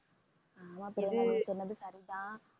ஆமா பிரியங்கா நீ சொன்னது சரிதான்